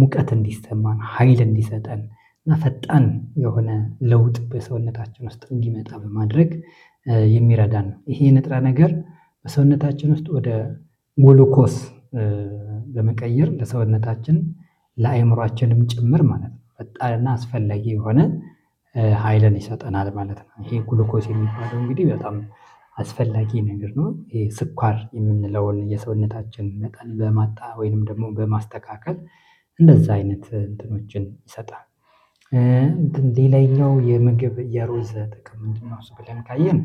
ሙቀት እንዲሰማን ሀይል እንዲሰጠንና ፈጣን የሆነ ለውጥ በሰውነታችን ውስጥ እንዲመጣ በማድረግ የሚረዳን ነው። ይሄ ንጥረነገር በሰውነታችን ውስጥ ወደ ግሉኮስ ለመቀየር ለሰውነታችን ለአእምሮአችንም ጭምር ማለት ነው ፈጣንናአስፈለጊ የሆነ ሀይልን ይሰጠናል ማለት ነው። ይሄ ግሉ ኮስ የሚባለው እንግዲህ በጣም አስፈላጊ ነገር ነው። ይሄ ስኳር የምንለውን የሰውነታችንመጠን በማጣ ወይንም ደግሞ በማስተካከል እንደዛ አይነት እንትኖችን ይሰጣል። እንትን ሌላኛው የምግብ የሩዝ ጥቅም ምንድነውስ? ብለን ካየን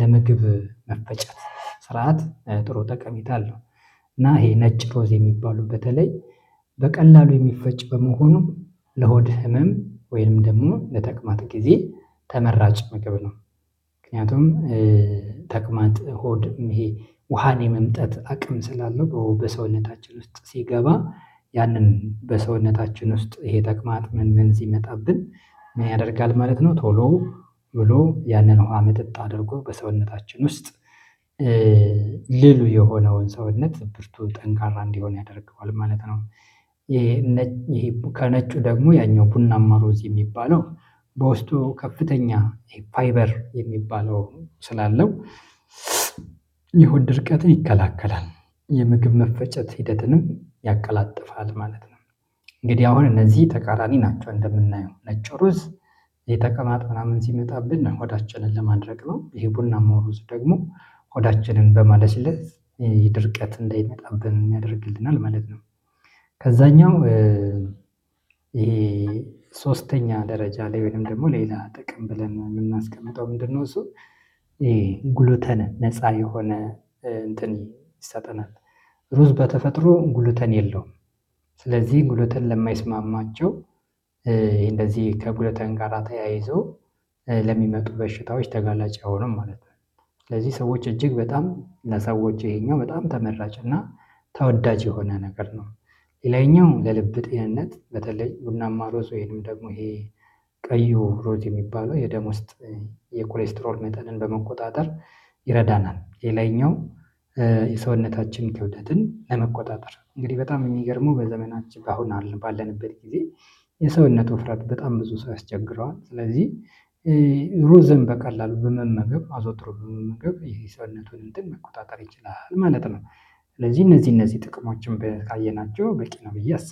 ለምግብ መፈጨት ስርዓት ጥሩ ጠሜታአለው ና ይሄ ነጭ ሩዝ የሚባሉ በተለይ በቀላሉ የሚፈጭ በመሆኑ ለሆድ ህመም ወይም ደግሞ ለተቅማጥ ጊዜ ተመራጭ ምግብ ነው። ምክንያቱም ተቅማጥ ሆድይሄ ውሃን የመምጠጥ አቅም ስላለው በሰውነታችን ውስጥ ሲገባ ያንን በሰውነታችን ውስጥ ይሄ ተቅማጥ ምን ምን ሲመጣብንምን ያደርጋል ማለት ነው ቶሎ ቶብሎ ያንን ውሃምጥጥ አድርጎ በሰውነታችን ውስጥ የሆነውን ሰውነት ብርቱ ጠንካራ እንዲሆን ያደርገዋል ማለት ነው። ይሄ ከነጩ ደግሞ ያኛው ቡና ማሮዝ የሚባለው በውስጡ ከፍተኛ ፋይበር የሚባለው ስላለው የሆድ ድርቀትን ይከላከላል የምግብ መፈጨት ሂደትንም ያቀላጥፋል ማለት ነው። እንግዲህ አሁን እነዚህ ተቃራኒ ናቸው እንደምናየው ነጮሩዝ የተቀማትጥ ምናምን ሲመጣብን ሆዳችንን ለማድረቅ ነው ይሄ ቡና ማውሩዝ ደግሞ ሆዳችንን በማለስለስ ድርቀት እንዳይመጣብን ያደርግልናል ማለት ነው። ከዛኛውይሄ ሶስተኛ ደረጃ ላይ ወይም ደግሞ ሌላ ጥቅም ብለን የምናስቀምጠው ምንድነው? እሱ ይሄ ጉሉተን ነፃ የሆነ እንትን ይሰጠናል ሩዝ በተፈጥሮ ጉሉተን የለውም ስለዚህ ጉሉተን ለማይስማማቸው እንደዚህ ከጉለተን ጋራ ተያይዞ ለሚመጡ በሽታዎች ተጋላጭ አይሆንም ማለት ነው። ስለዚህ ሰዎች እጅግ በጣም ለሰዎች ይሄኛው በጣም ተመራጭ እና ተወዳጅ የሆነ ነገር ነው። ሌላኛው ለልብ ጤንነት በተለይ ቡናማ ሩዝ ወይንም ደግሞ ይሄ ቀዩ ሩዝ የሚባለው የደም ውስጥ የኩሌስትሮል መጠንን በመቆጣጠር ይረዳናል የላይኛው የሰውነታችን ክውደትን ለመቆጣጠር እንግዲህ በጣም የሚገርመው በዘመናችን አሁን አለን ባለንበት ጊዜ የሰውነቱ ውፍረት በጣም ብዙ ሰው ያስቸግረዋል ስለዚህ ሩዝን በቀላሉ በመመገብ አዘወትሮ በመመገብ ይሄ የሰውነቱን እንትን መቆጣጠር ይችላል ማለት ነው። ስለዚህ እነዚህ እነዚህ ጥቅሞችን በ ካየናቸው በቂ ነው ብዬ አስባለሁ